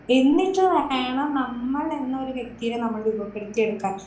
എന്നിട്ട് വേണം നമ്മളെന്നൊരു വ്യക്തിയെ നമ്മളിൽ എടുക്കാൻ.